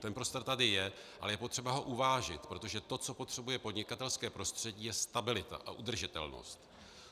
Ten prostor tady je, ale je potřeba ho uvážit, protože to, co potřebuje podnikatelské prostředí, je stabilita a udržitelnost.